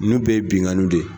Ninnu bɛɛ ye binnkanniw de ye